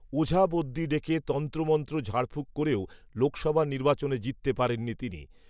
ওঝাবদ্যি ডেকে তন্ত্রমন্ত্র ঝাড়ফূঁক করেও লোকসভা নির্বাচনে জিততে পারেননি তিনি